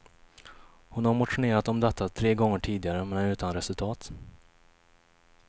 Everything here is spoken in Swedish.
Hon har motionerat om detta tre gånger tidigare men utan resultat.